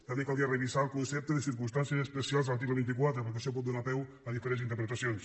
també caldria revisar el concepte de circumstàncies especials de l’article vint quatre perquè això pot donar peu a diferents interpretacions